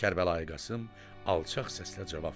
Kərbəlayı Qasım alçaq səslə cavab verdi: